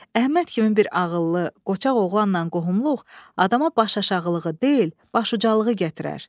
Əhməd kimi bir ağıllı, qoçaq oğlanla qohumluq adama başaşağılığı deyil, başucalığı gətirər.